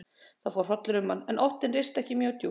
Það fór hrollur um hann, en óttinn risti ekki mjög djúpt.